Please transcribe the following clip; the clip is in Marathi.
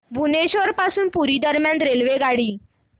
भुवनेश्वर पासून पुरी दरम्यान रेल्वेगाडी